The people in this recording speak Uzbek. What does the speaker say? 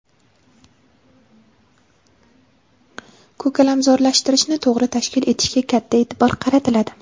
ko‘kalamzorlashtirishni to‘g‘ri tashkil etishga katta e’tibor qaratiladi.